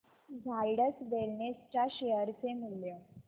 Zydus wellness च्या share चे मूल्य